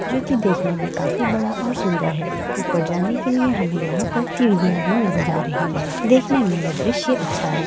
जो की देखने में काफी बड़ा और सुन्दर है। ऊपर जाने के लिए हमें यहाँ पर सीढियाँ भी नज़र आ रहीं हैं। देखने में यह दृश्य अच्छा है।